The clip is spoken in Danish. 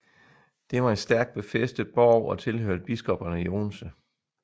Det var en stærk befæstet borg og tilhørte biskopperne i Odense